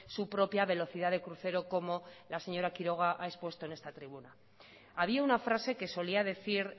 su propia velocidad de crucero como la señora quiroga ha expuesto en esta tribuna había una frase que solía decir